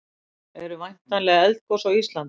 eru væntanleg eldgos á íslandi